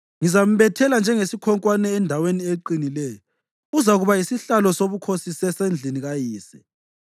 Ngizambethela njengesikhonkwane endaweni eqinileyo; uzakuba yisihlalo sobukhosi sasendlini kayise.